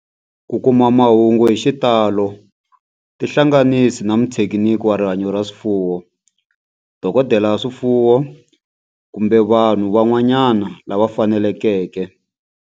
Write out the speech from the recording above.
Ku kuma mahungu hi xitalo tihlanganisi na muthekiniki wa rihanyo ra swifuwo, dokodela ya swifuwo, kumbe vanhu van'wana lava fanelekeke.